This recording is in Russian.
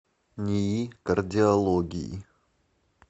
нии кардиологии